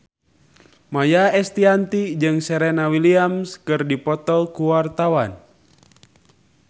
Maia Estianty jeung Serena Williams keur dipoto ku wartawan